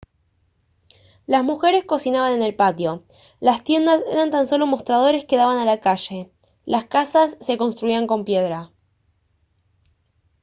las mujeres cocinaban en el patio las tiendas eran tan solo mostradores que daban a la calle las casas se construían con piedra